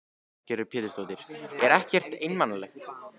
Lillý Valgerður Pétursdóttir: Er ekkert einmanalegt?